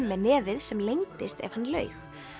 með nefið sem lengdist ef hann laug